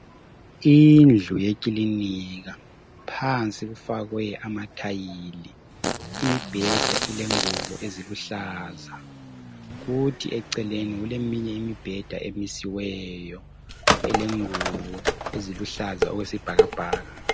Indlu yekilinika phansi kufakwe ama "tile" imibheda ilengubo eziluhlaza kuthi eceleni kulemunye imibheda emisiweyo elengubo eziluhlaza okwesibhakabhaka.